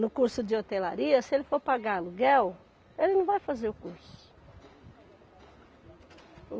No curso de hotelaria, se ele for pagar aluguel, ele não vai fazer o curso.